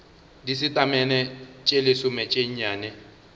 disetamene tše lesome tše nnyane